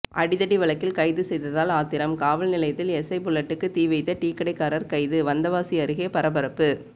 அடிதடி வழக்கில் கைது செய்ததால் ஆத்திரம்காவல் நிலையத்தில் எஸ்ஐ புல்லட்டுக்கு தீ வைத்த டீக்கடைக்காரர் கைது வந்தவாசி அருகே பரபரப்பு